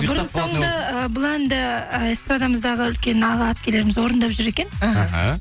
бұрын соңды ы бұл әнді ы эстрадамыздағы үлкен аға әпкелеріміз орындап жүр екен іхі